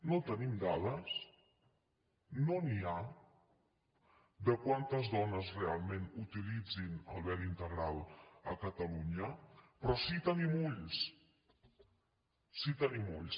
no en tenim dades no n’hi ha de quantes dones realment utilitzen el vel integral a catalunya però sí que tenim ulls sí que tenim ulls